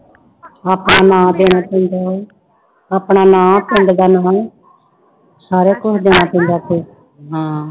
ਆਪਣਾ ਨਾਂ ਦੇਣਾ ਪੈਂਦਾ ਹੈ, ਆਪਣਾ ਨਾਂ ਪਿੰਡ ਦਾ ਨਾਮ ਸਾਰਾ ਕੁਛ ਦੇਣਾ ਪੈਂਦਾ ਫਿਰ ਹਾਂ।